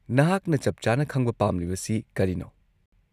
-ꯅꯍꯥꯛꯅ ꯆꯞꯆꯥꯅ ꯈꯪꯕ ꯄꯥꯝꯂꯤꯕꯁꯤ ꯀꯔꯤꯅꯣ?